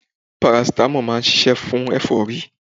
Paracetamol máa ń ṣiṣẹ́ fún ẹ̀fọ́rí